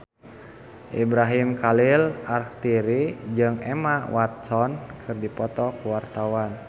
Ibrahim Khalil Alkatiri jeung Emma Watson keur dipoto ku wartawan